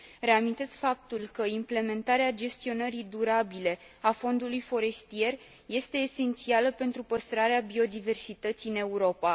Reamintesc faptul că implementarea gestionării durabile a fondului forestier este esențială pentru păstrarea biodiversității în Europa.